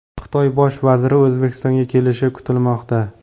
Xitoy bosh vaziri O‘zbekistonga kelishi kutilmoqda.